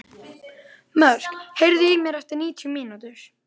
Mörk, heyrðu í mér eftir níutíu mínútur.